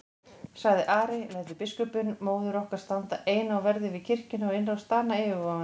sagði Ari,-lætur biskupinn móður okkar standa eina á verði við kirkjuna og innrás Dana yfirvofandi?